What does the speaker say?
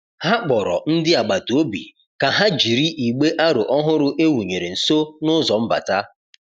Ha kpọrọ ndị agbata obi ka ha jiri igbe aro ọhụrụ e wụnyere nso n'ụzọ mbata.